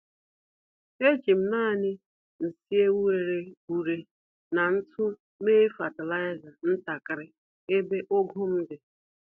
Ejim nani nsị ewu rere ure na ntụ mee fatịlaịza ntakiri ebe ugu m di